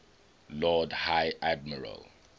lord high admiral